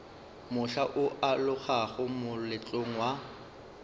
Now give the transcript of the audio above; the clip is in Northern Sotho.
mohla o alogago moletlong wa